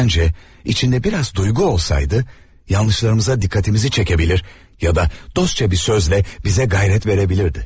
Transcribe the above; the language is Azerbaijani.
Məncə, içində bir az duyğu olsaydı, səhvlərimizə diqqətimizi çəkə bilər, ya da dostcasına bir sözlə bizə cəsarət verə bilərdi.